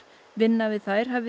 vinna við þær hafi